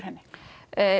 henni